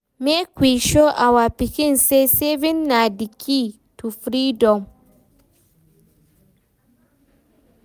Make we show our pikin say savings na the key to freedom.